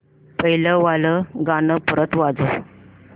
पहिलं वालं गाणं परत वाजव